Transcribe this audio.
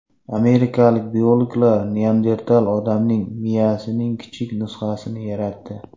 Amerikalik biologlar neandertal odamlar miyasining kichik nusxasini yaratdi.